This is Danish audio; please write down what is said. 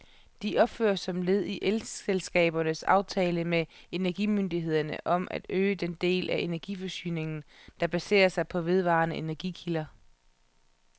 De opføres som led i elselskabernes aftale med energimyndighederne om at øge den del af energiforsyningen, der baserer sig på vedvarende energikilder.